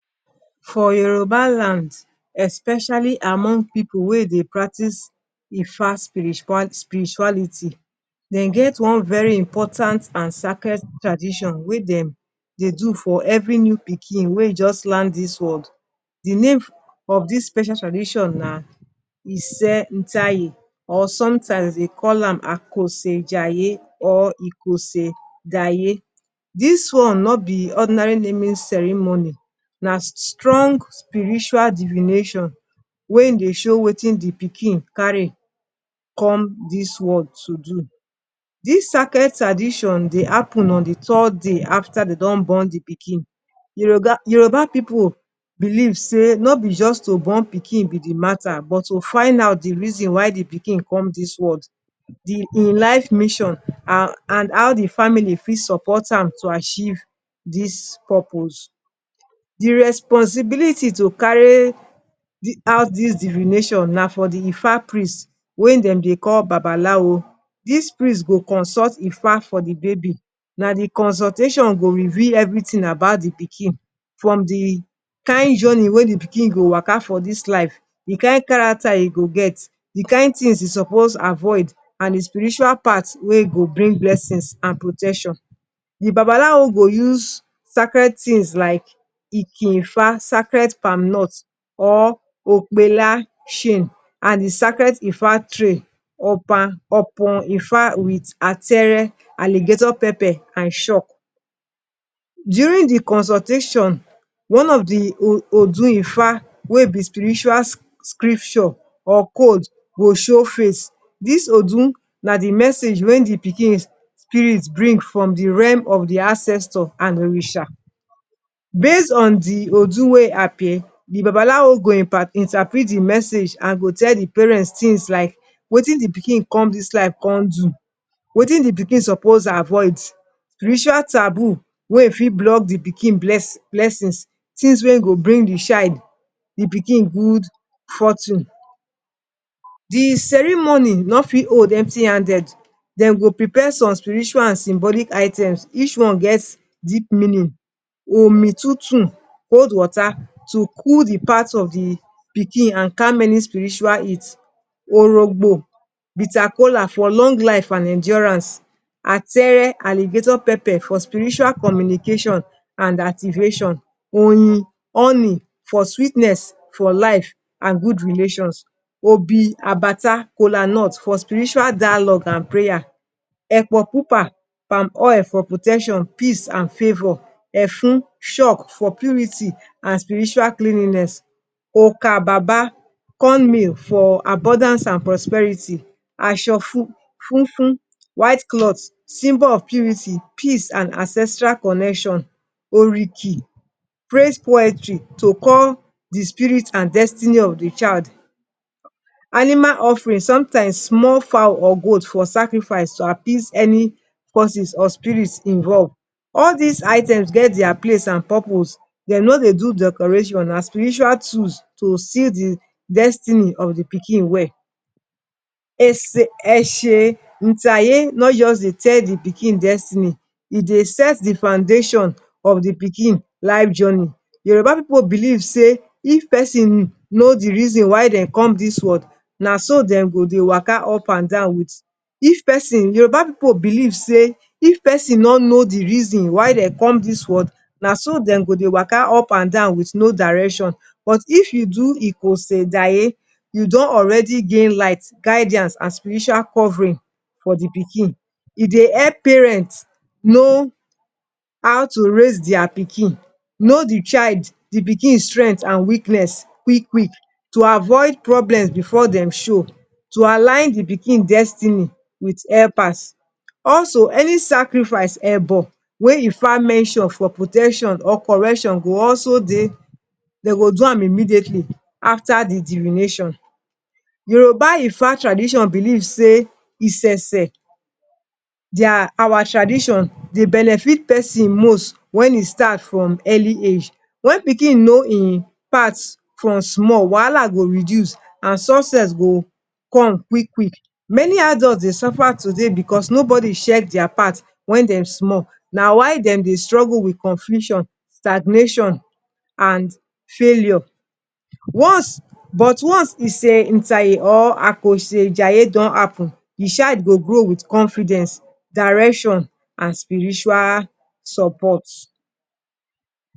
For Yoruba land, especially among pipu wey dey practice Ifa spirituality, dem get one very important and sacred tradition wey dem dey do for every new pikin wey just land dis world. The name of dis special tradition na Èsè táyé”, or sometimes dem dey call am “Àkoso jàyé” or “Èkose jàyé.” Dis one no be ordinary naming ceremony. Na strong spiritual divination wey dey show wetin the pikin carry come this world to do. Dis sacred tradition dey happen on the third day after dem don born the pikin. Yoruba pipu believe say no be just to born pikin be the matter, but to find out the reason why the pikin come dis world hin life mission and how the family fit support am to achieve dis purpose. The responsibility to carry out dis divination dey for the Ifá priest, wey dem dey call Bàbáláwo. Dis priest go consult Ifá for the baby. Na the consultation go reveal everything about the pikin from the kind journey wey the pikin go waka for this life, the kind character e go get, the kind things e suppose avoid, and the spiritual part wey go bring blessings and protection. The Bàbáláwo go use sacred things like Ìkin Ifá, sacred palm nuts, or Ope Ìlàsìn and the sacred Ifa tray Opon Ifá, ataaré alligator pepper, and chalk. During the consultation, one of the Odu Ifá wey be spiritual scripture or code go show face. Dis Odu na the message wey the pikin spirit bring from the realm of the ancestors and Òrìsà. Based on the Odu wey appear, the Bàbáláwo go interpret the message and tell the parents things like: wetin the pikin come dis life come do, wetin the pikin suppose avoid, ritual taboos wey fit block the pikin blessings, and things wey go bring the child good fortune. The ceremony no dey hold empty-handed. Dem go prepare some spiritual and symbolic items, and each one get deep meaning Omi tútù cold water to cool the path of the pikin and calm any spiritual heat Òrógbó bitter kola, for long life and endurance. ataaré, alligator pepper for spiritual communication and activation. Oyin honey, for sweetness for life and good relation Òbí àbàtà kola nut, for spiritual dialogue and prayer. Èpò pupa red palm oil for protection, peace, at ten tion, and favor • Efun chalk, for purity and spiritual cleanliness Oka bàbà cornmeal, for abundance and prosperity. Aso funfun white cloth, symbol of purity, peace, and ancestral connection. Òríkì praise poetry, to call the child’s spirit and destiny of the child, animal offering sometimes small fowl or goat for sacrifice to appease any forces or spirit involved. All these items get their place and purpose. Dem no dey do decoration. Na spiritual tools to see the destiny of the pikin well. Èsè itáyé no just dey tell the pikin destiny. E dey set d foundation of the pikin life journey. Yoruba pipu believe say, if pesin know the reason why dem come this world, na so dem go just dey waka upandan with if pesin Yoruba pipu believe sey if pesin no know the reason why dem come this world, na so dem go just dey waka upandan without direction. But if you do Àkose jàyé, you don already gain light, guidance, and spiritual covering for the pikin. E dey help parents know how to raise their pikin know the child pikin strength and weakness early, to avoid problem before dem show to align the pikin destiny with helpers. Also, any sacrifice ebo wey Ifá mention for protection or correction, go also dey dem go do am immediately after the divination. Yoruba Ifá tradition believe say, Èsè der awa tradition dey benefit person most when hin start from early age. If pikin know e path from small, wahala go reduce and success go come quick quick. Many adults dey suffer today because nobody check their path when dem small na why dem dey struggle with confusion, stagnation, and failure. Once But once Èsè itáyé or Àkose jàyé don happen, the child go grow with confidence, direction, and spiritual support.